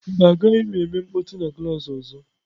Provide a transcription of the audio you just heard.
Mba, agaghị m eme mkpọtụ na klaasị ọzọ.